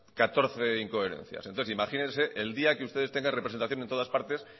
catorce incoherencias entonces imagínese el día que ustedes tengan representación en todas partes